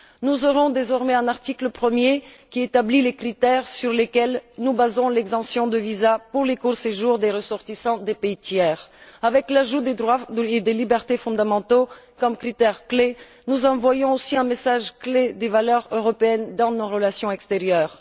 Nous aurons désormais un article premier, qui établit les critères sur lesquels nous basons l'exemption de visa pour les courts séjours des ressortissants des pays tiers. Avec l'ajout des droits et libertés fondamentaux comme critère clé, nous envoyons aussi un message fort sur les valeurs européennes dans nos relations extérieures.